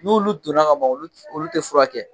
N'olu donna ka ban olu t olu tɛ furakɛ.